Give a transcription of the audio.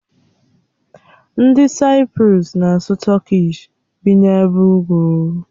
Ndị Saịprọs na-asụ Tọkish, bi n'ebe ugwu.